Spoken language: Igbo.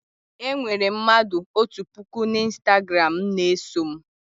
Enwere m mmadụ otu puku n'Ịstagram na-eso m